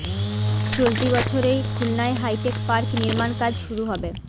চলতি বছরেই খুলনায় হাইটেক পার্ক নির্মাণ কাজ শুরু হবে